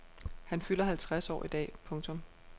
Han fylder halvtreds år i dag. punktum